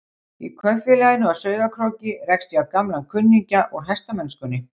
Í kaupfélaginu á Sauðárkróki rekst ég á gamlan kunningja úr hestamennskunni.